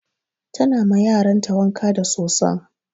Ta na ma yaran ta wanka da soson.